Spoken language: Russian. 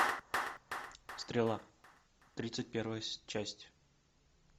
стрела тридцать первая часть